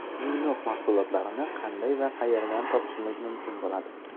Minox mahsulotlarini qanday va qayerdan topishimiz mumkin bo‘ladi?